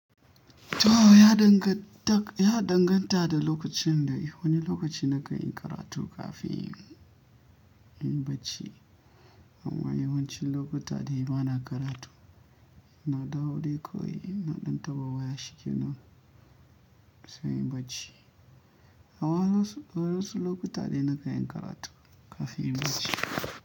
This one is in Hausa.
To ya danganta da lokacin da wani lokaci na kayan karatu kafin in yi bacci. Amma yawancin lokuta dai ba na karatu, na dawo dai kawai na ɗan taba waya shi ke nan sai in yi bacci. Hawa wasu lokuta dai na kan yi karatu kafin in yi bacci.